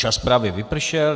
Čas právě vypršel.